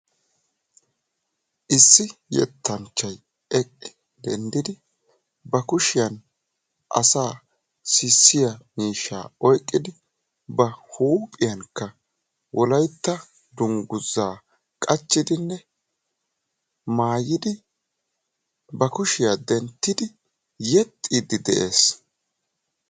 Issi yettanchchay denddi eqqidi ba kushiyaan asaa sissiyaa miishshaa oyqqidi ba huuphphiyaankka wolaytta dunguzaa qachchidinne maayidi ba kushiyaa denttidi yexxiidi de'ees.